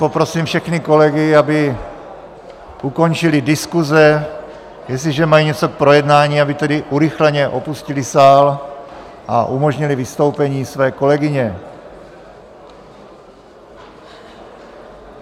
Poprosím všechny kolegy, aby ukončili diskuse, jestliže mají něco k projednání, aby tedy urychleně opustili sál a umožnili vystoupení své kolegyně.